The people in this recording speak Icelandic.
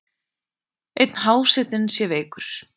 Einn hásetinn sé veikur.